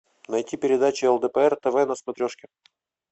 найти передачу лдпр тв на смотрешке